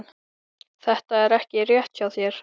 Þetta er ekki rétt hjá þér